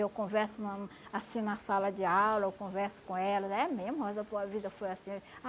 Eu converso na assim na sala de aula, eu converso com elas, é mesmo, mas a tua vida foi assim?